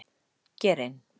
Get in!!!